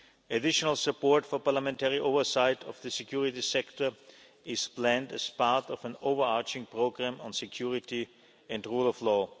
Additional support for parliamentary oversight of the security sector is planned as part of an overarching programme on security and the rule of law.